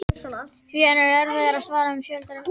Því er enn erfiðara að svara en um fjölda ríkja.